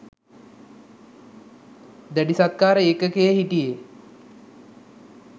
දැඩිසත්කාර ඒකකයේ හිටියේ.